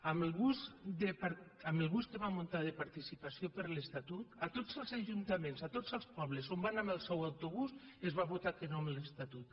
amb el bus que va muntar de participació per l’estatut a tots els ajuntaments a tots els pobles on va anar amb el seu autobús es va votar que no a l’estatut